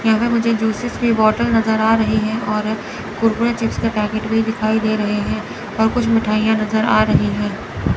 यहां मुझे जूसस की बॉटल नजर आ रही हैं और कुरकुरे चिप्स का पैकेट भी दिखाई दे रहे हैं और कुछ मिठाइयां नजर आ रही हैं।